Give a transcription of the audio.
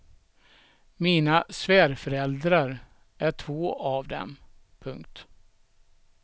Mina svärföräldrar är två av dem. punkt